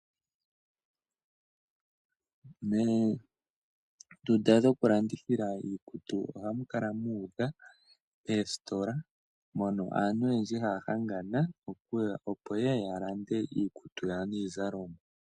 Oondunda dhoku landithi, oositola, moka aantu ayehe ha ya hanga opo ye ye yalande iizalomwa yawo. oondunda shokulandithila iiktu oha mu kala muudha; moka aantu ha gongala no ku landa iizalomwa.